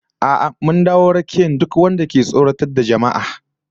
A'a mun dawo rakiyar duk wanda ke tsoratar da jama'a